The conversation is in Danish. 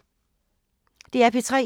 DR P3